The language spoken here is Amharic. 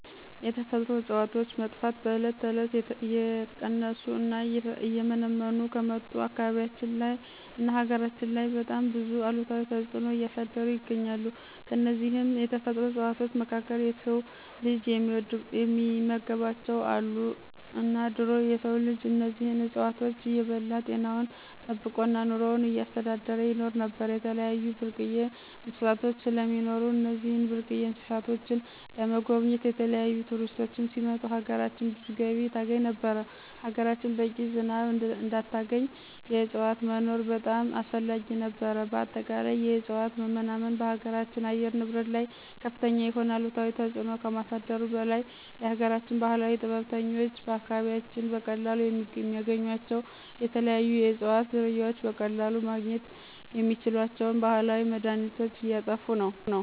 የተፈጥሮ እፅዋቶች መጥፋት በዕለት ተዕለት እየቀነሱ እና እየመነመኑ ከመጡ አካባቢያችን ላይ እና ሀገራችን ላይ በጣም ብዙ አሉታዊ ተፅኖ እያሳደሩ ይገኛሉ። ከነዚህም የተፈጥሮ እፅዋቶች መካከል የስው ልጅ የሚመገባቸው አሉ እና ድሮ የስው ልጅ እነዚህን እፅዋቶች እየበላ ጤናውን ጠበቆ እና ኑሮውን እያስተዳደረ ይኖር ነበር። የተለያዩ ብርቅየ እንስሳቶች ስለሚኖሩ እነዚህን ብርቅየ እንስሳቶችን ለመጎብኘት የተለያዪ ቱሪስቶች ሲመጡ ሀገራችን ብዙ ገቢ ታስገኝ ነበር፣ ሀገራችን በቂ ዝናብ እንድታገኝ የዕፅዋቶች መኖር በጣም አስፈላጊ ነበር። በአጠቃላይ የእፅዋት መናመን በሀገራችን አየር ንብረት ላይ ከፍተኛ የሆነ አሉታዊ ተፅኖ ከማሳደሩ በላይ የሀገራችን ባህላዊ ጥበበኞች በአካባቢያችን በቀላሉ የሚያገኟቸው የተለያዩ የእፅዋት ዝርያዎች በቀለሉ ማግኝት የሚችሏቸውን ባህላዊ መድሀኒቶች እየጥፉ መጡ።